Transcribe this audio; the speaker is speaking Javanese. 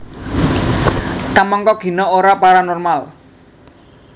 Kamangka Gina ora paranormal